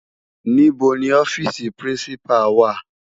Nibó ni òfisi Pirinsipá wá?